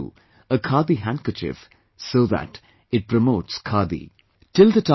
And that too, a 'Khadi' handkerchief, so that it promotes 'Khadi'